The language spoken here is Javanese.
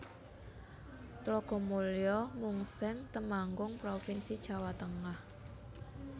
Tlogomulyo Mungseng Temanggung provinsi Jawa Tengah